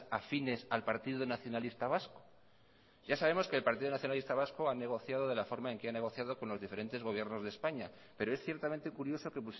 afines al partido nacionalista vasco ya sabemos que el partido nacionalista vasco ha negociado de la forma en que ha negociado con los diferentes gobiernos de españa pero es ciertamente curioso que